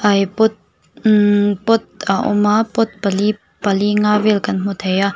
ai pot imm pot a awm a pot pali pali nga vel kan hmu theih a--